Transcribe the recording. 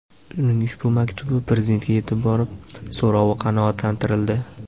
Uning ushbu maktubi Prezidentga yetib borib, so‘rovi qanoatlantirildi .